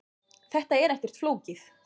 Þetta er ekkert flókið